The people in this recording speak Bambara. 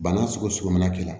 Bana sugu sugu min na k'i la